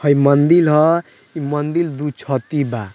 हय मंदील ह इ मंदील दू छती बा।